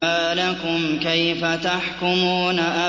مَا لَكُمْ كَيْفَ تَحْكُمُونَ